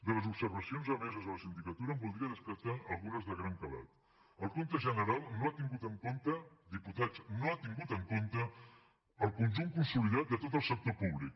de les observacions emeses de la sindicatura em voldria destacar algunes de gran calat el compte general no ha tingut en compte diputats no l’ha tingut en compte el conjunt consolidat de tot el sector públic